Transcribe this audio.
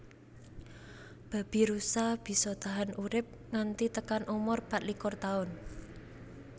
Babirusa bisa tahan urip nganti tekan umur patlikur Taun